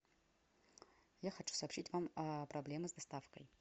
я хочу сообщить вам о проблемах с доставкой